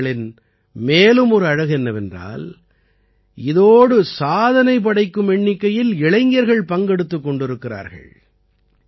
இந்த ஏற்பாடுகளின் மேலும் ஒரு அழகு என்னவென்றால் இதோடு சாதனை படைக்கும் எண்ணிக்கையில் இளைஞர்கள் பங்கெடுத்துக் கொண்டிருக்கிறார்கள்